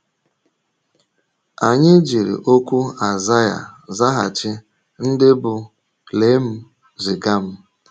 Anyị jiri okwu Aịzaịa zaghachi, ndị bụ́: “ Lee m; ziga m. ”